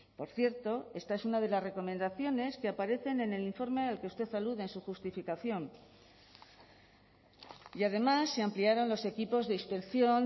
por cierto esta es una de las recomendaciones que aparecen en el informe al que usted alude en su justificación y además se ampliaron los equipos de inspección